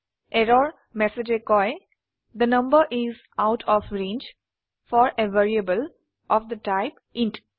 error ম্যাসেজে কয় the number is out of range for a variable of the type int